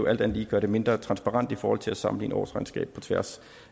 alt andet lige gøre det mindre transparent i forhold til at sammenligne årsregnskaber på tværs